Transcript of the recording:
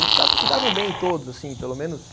Eles se davam bem todos assim, pelo menos